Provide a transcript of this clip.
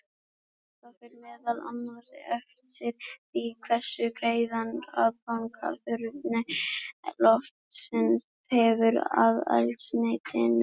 Þetta fer meðal annars eftir því hversu greiðan aðgang súrefni loftsins hefur að eldsneytinu.